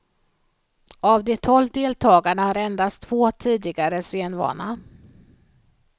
Av de tolv deltagarna har endast två tidigare scenvana.